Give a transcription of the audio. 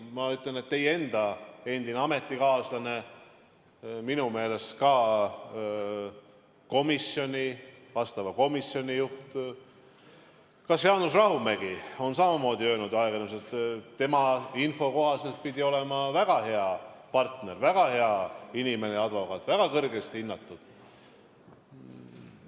Ma ütlen, et teie enda endine ametikaaslane, minu meelest ka vastava komisjoni juht, Jaanus Rahumägi on öelnud ajakirjanduses, et tema info kohaselt pidi olema väga hea partner, väga hea inimene ja advokaat, väga kõrgesti hinnatud.